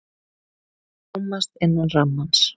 Rúmast innan rammans